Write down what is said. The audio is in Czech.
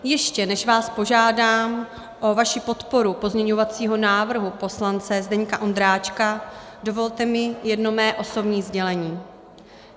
Ještě než vás požádám o vaši podporu pozměňovacího návrhu poslance Zdeňka Ondráčka, dovolte mi jedno mé osobní sdělení.